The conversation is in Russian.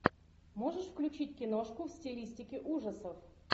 можешь включить киношку в стилистике ужасов